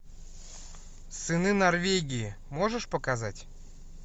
сыны норвегии можешь показать